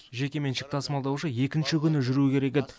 жекеменшік тасымалдаушы екінші күні жүру керек еді